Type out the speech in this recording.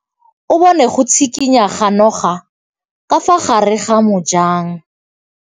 O bone go tshikinya ga noga ka fa gare ga majang.